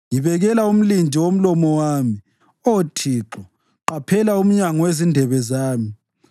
Ngibekela umlindi womlomo wami, Oh Thixo, qaphela umnyango wezindebe zami.